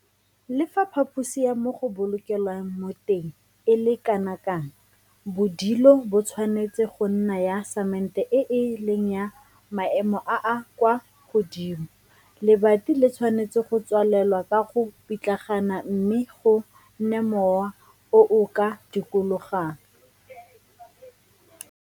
Le fa phaphosi ya mo go bolokelwang mo teng e le kana kang, bodilo bo tshwanetse go nna ya samente e e leng ya maemo a a kwa godimo, lebati le tshwanetse go tswalelwa ka go pitlagana mme go nne mowa o o ka dikologang.